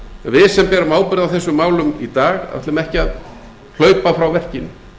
við sem berum ábyrgð á þessum málum í dag ætlum ekki að hlaupa frá verkinu